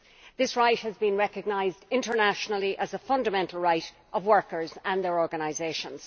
This right has been recognised internationally as a fundamental right of workers and their organisations.